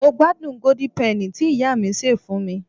mo gbádùn golden penny ti iya mi ṣe fún mi